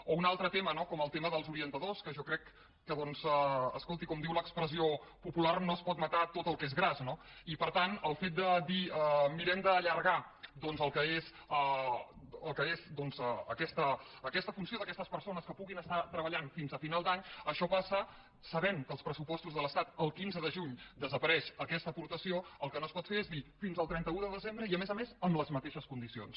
o un altre tema no com el tema dels orientadors que jo crec que doncs escolti com diu l’expressió popular no es pot matar tot el que és gras no i per tant el fet de dir mirem d’allargar el que és aquesta funció d’aquestes persones que puguin estar treballant fins a final d’any això passa sabent que als pressupostos de l’estat el quinze de juny desapareix aquesta aportació el que no es pot fer és dir fins al trenta un de desembre i a més a més amb les mateixes condicions